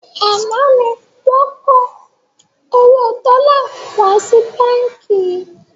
Àná ni wọn kó owó dọ́là wá sí báńkì yìí